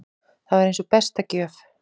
Þetta var eins og besta gjöf.